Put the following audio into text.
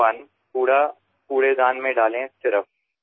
আৱৰ্জনা কেৱল জাৱৰৰ পাত্ৰতহে নিক্ষেপ কৰক